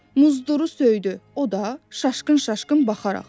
Muzduru söydü, o da şaşqın-şaşqın baxaraq.